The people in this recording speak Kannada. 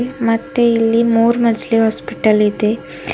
ಮತ್ತೆ ಇಲ್ಲಿ ಮೂರು ಮಜಲು ಹಾಸ್ಪಿಟಲ್ ಇದೆ.